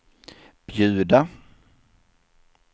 bjuda